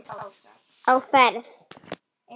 Á ferð